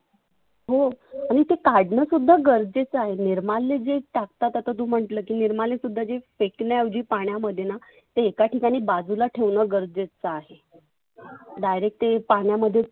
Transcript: हो, आणि ते काढनं सुद्धा गरजेच आहे. निर्माल्य जे टाकतात आता तु म्हटलं निर्माल्य सुद्धा जे फेकण्या ऐवजी पाण्यामध्येना ते एका ठिकाणी बाजुला ठेवनं गरजेच आहे. direct ते पाण्यामध्ये